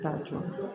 Taa jɔ